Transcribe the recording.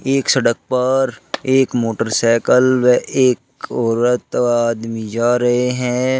एक सड़क पर एक मोटरसाईकल व एक औरत आदमी जा रहे है।